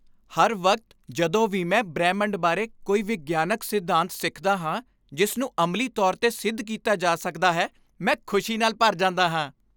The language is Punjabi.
ਹਰ ਵਕਤ ਜਦੋਂ ਵੀ ਮੈਂ ਬ੍ਰਹਿਮੰਡ ਬਾਰੇ ਕੋਈ ਵਿਗਿਆਨਕ ਸਿਧਾਂਤ ਸਿੱਖਦਾ ਹਾਂ ਜਿਸ ਨੂੰ ਅਮਲੀ ਤੌਰ 'ਤੇ ਸਿੱਧ ਕੀਤਾ ਜਾ ਸਕਦਾ ਹੈ, ਮੈਂ ਖੁਸ਼ੀ ਨਾਲ ਭਰ ਜਾਂਦਾ ਹਾਂ।